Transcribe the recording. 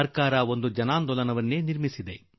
ಸರ್ಕಾರ ಒಂದು ಜನಾಂದೋಲನವನ್ನು ಹುಟ್ಟುಹಾಕಿದೆ